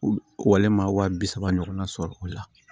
Wale ma wa bi saba ɲɔgɔnna sɔrɔ o la